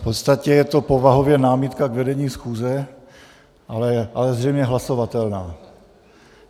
V podstatě je to povahově námitka k vedení schůze, ale zřejmě hlasovatelná.